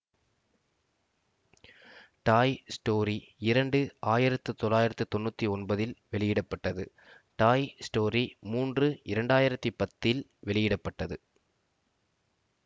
டாய் story இரண்டு ஆயிரத்தி தொளாயிரத்தி தொண்ணுற்றி ஒன்பது இல் வெளியிட பட்டது டாய் ஸ்டோரி மூன்று இரண்டாயிரத்து பத்தில் வெளியிட பட்டது